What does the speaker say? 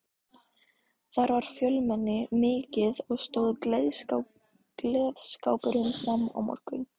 Þar var fjölmenni mikið og stóð gleðskapurinn fram á morgun.